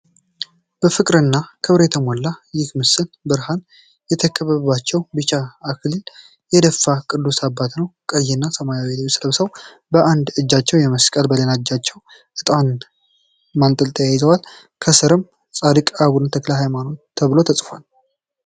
በፍቅርና ክብር የተሞላው ይህ ምስል፣ ብርሃን የከበባቸውና ቢጫ አክሊል የደፉ ቅዱስ አባት ነው። ቀይና ሰማያዊ ልብስ ለብሰው፣ በአንድ እጅ መስቀል በሌላኛው ደግሞ ዕጣን ማጠንጠያ ይዘዋል። ከስርም "ጻድቅ አቡነ ተክለ ሃይማኖት" ተብሎ ተጽፏል።